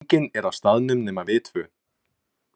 Enginn er á staðnum nema við tvö.